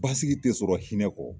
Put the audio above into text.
Basigi tɛ sɔrɔ hinɛ kɔ.